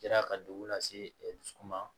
Kɛra ka degun lase dusukun ma